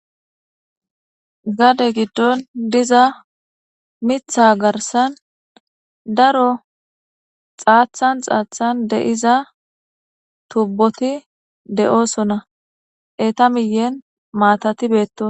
Gade giddon diza mitha garssan daro xaathan xaathan de7iza tubboti de'oosona. eeta miyyen maatati beetto.